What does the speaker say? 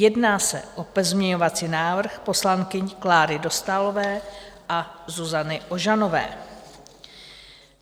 Jedná se o pozměňovací návrh poslankyň Kláry Dostálové a Zuzany Ožanové.